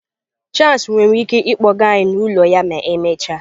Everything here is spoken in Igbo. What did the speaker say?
Charles nwere ike ịkpọga anyị n'ụlọ ya ma emechaa?